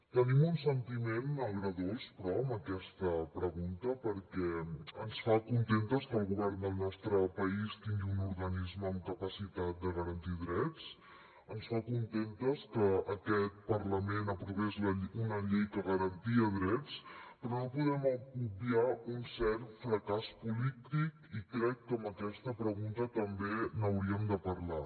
tenim un sentiment agredolç però amb aquesta pregunta perquè ens fa contentes que el govern del nostre país tingui un organisme amb capacitat de garantir drets ens fa contentes que aquest parlament aprovés una llei que garantia drets però no podem obviar un cert fracàs polític i crec que amb aquesta pregunta també n’hauríem de parlar